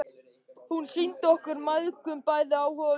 Hún sýndi okkur mæðgum bæði áhuga og umhyggju.